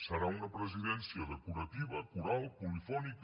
serà una presidència decorativa coral polifònica